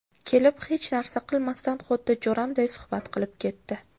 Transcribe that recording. Kelib, hech narsa qilmasdan xuddi jo‘ramday suhbat qilib ketdi.